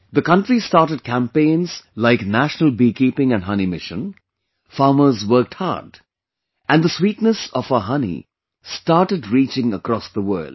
The country started campaigns like National Beekeeping and Honey Mission, farmers worked hard, and the sweetness of our honey started reaching across the world